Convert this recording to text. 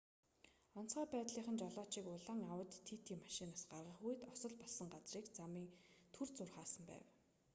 онцгой байдлынхан жолоочийг улаан ауди тити машинаас гаргах үед осол болсон газрын замыг түр зуур хаасан байсан